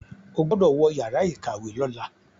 O gbódò wọ Yàrá ìkàwé lọla!